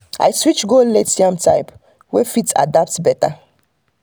i switch go late yam type wey fit adapt better.